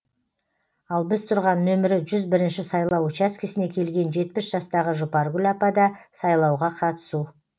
ал біз тұрған нөмірі жүз бірінші сайлау учаскесіне келген жетпіс жастағы жұпаргүл апа да сайлауға қатысу